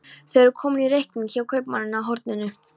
Þau eru komin í reikning hjá kaupmanninum á horninu.